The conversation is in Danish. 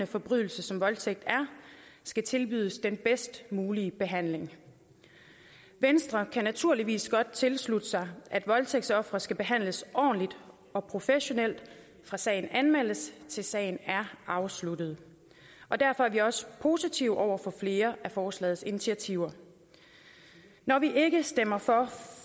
forbrydelse som voldtægt er skal tilbydes den bedst mulige behandling venstre kan naturligvis godt tilslutte sig at voldtægtsofre skal behandles ordentligt og professionelt fra sagen anmeldes til sagen er afsluttet og derfor er vi også positive over for flere af forslagets initiativer når vi ikke stemmer for